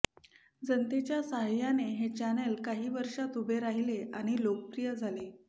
जनतेच्या सहाय्याने हे चॅनेल काही वर्षात उभे राहिले आणि लोकप्रिय झाले